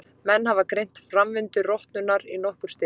Menn hafa greint framvindu rotnunar í nokkur stig.